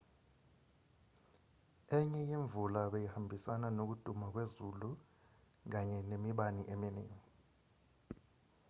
enye yemvula beyihambisana nokuduma kwezulu kanye nemibani eminingi